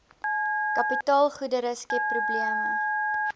kapitaalgoedere skep probleme